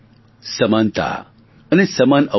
સમાનતા અને સમાન અવસર